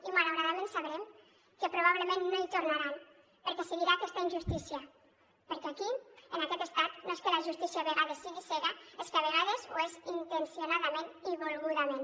i malauradament sabrem que probablement no hi tornaran perquè seguirà aquesta injustícia perquè aquí en aquest estat no és que la justícia a vegades sigui cega és que a vegades ho és intencionadament i volgudament